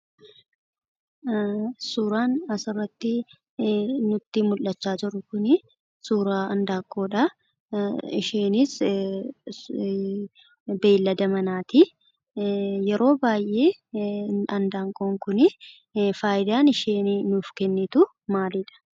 Suuraan as irratti nutti mul'achaa jiru kun suuraa handaanqoodha. Isheenis Beeylada manaati. Yeroo baay'ee handanqoon kunii faayidaa isheen nuuf kennitu maaliidha?